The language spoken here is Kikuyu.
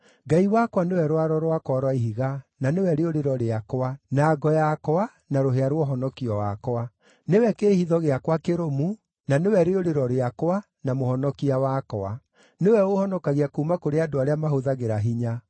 Ngai wakwa nĩwe rwaro rwakwa rwa ihiga, na nĩwe rĩũrĩro rĩakwa, na ngo yakwa, na rũhĩa rwa ũhonokio wakwa. Nĩwe kĩĩhitho gĩakwa kĩrũmu, na nĩwe rĩũrĩro rĩakwa, na mũhonokia wakwa; nĩwe ũũhonokagia kuuma kũrĩ andũ arĩa mahũthagĩra hinya.